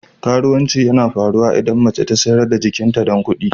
Karuwanci yana faruwa idan mace ta sayar da jikinta don kudi.